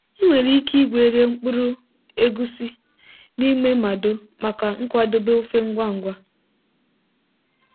ị nwere ike gwerie mkpụrụ egusi n'ime mado maka nkwadebe ofe ngwa ngwa.